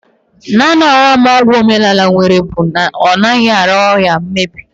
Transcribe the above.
Naanị ọghọm ọgwụ ọdịnala nwere bụ na ọ naghị ara ahụ emebi